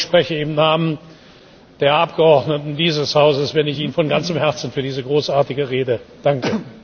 Ich glaube, ich spreche im Namen der Abgeordneten dieses Hauses, wenn ich Ihnen von ganzem Herzen für diese großartige Rede danke.